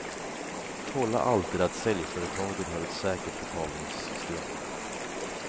Kolla alltid att säljföretaget har ett säkert betalningssystem.